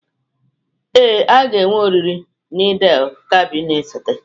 Ee, a ga-enwe oriri na Eid-el-Kabir na-esote.